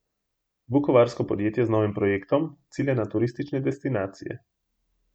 Vukovarsko podjetje z novim projektom cilja na turistične destinacije.